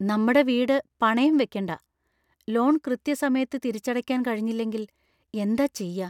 നമ്മടെ വീട് പണയം വെയ്ക്കണ്ട . ലോൺ കൃത്യസമയത്ത് തിരിച്ചടയ്ക്കാൻ കഴിഞ്ഞില്ലെങ്കിൽ എന്താ ചെയ്യാ?